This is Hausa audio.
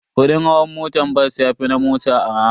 Kudin hawan motan bas yafi na mota arha.